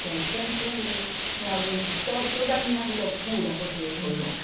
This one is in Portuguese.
Que sempre me me aguentou todas as minhas loucuras, porque eu sou louca.